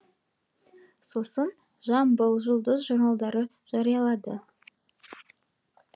сосын жамбыл жұлдыз журналдары жариялады